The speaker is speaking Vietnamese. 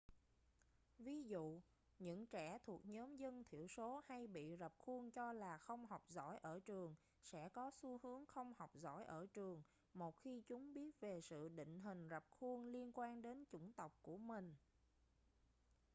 ví dụ những trẻ thuộc nhóm dân thiểu số hay bị rập khuôn cho là không học giỏi ở trường sẽ có xu hướng không học giỏi ở trường một khi chúng biết về sự định hình rập khuôn liên quan đến chủng tộc của mình